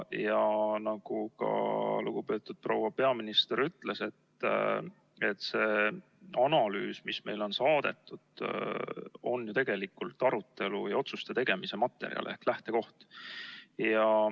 Ja nagu ka lugupeetud proua peaminister ütles, siis see analüüs, mis meile on saadetud, on ju tegelikult arutelu ja otsuste tegemise materjal ehk lähtekoht.